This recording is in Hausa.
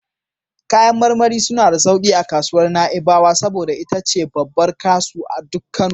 Kayan marmari suna da sauki a kasuwar Na'ibawa, saboda ita ce babbar kasu duk Kano...